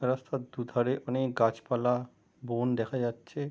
রাস্তার দুধারে অনকে গাছ পালা বন দেখা যাচ্ছে।